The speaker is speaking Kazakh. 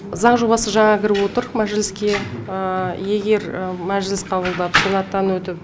заң жобасы жаңа кіріп отыр мәжіліске егер мәжіліс қабылдап сенаттан өтіп